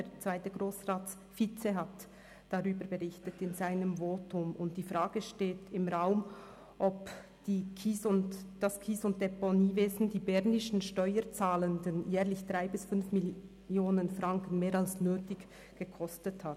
Der zweite Grossratsvizepräsident hat in seinem Votum darüber berichtet, und die Frage steht im Raum, ob das Kies- und Deponiewesen die bernischen Steuerzahlenden jährlich 3 bis 5 Mio. Franken mehr als nötig gekostet hat.